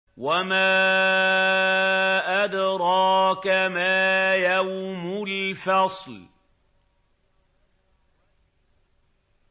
وَمَا أَدْرَاكَ مَا يَوْمُ الْفَصْلِ